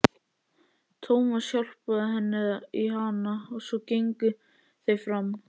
Tómas hjálpaði henni í hana, svo gengu þau fram.